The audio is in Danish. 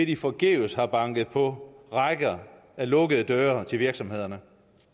de forgæves har banket på rækker af lukkede døre til virksomhederne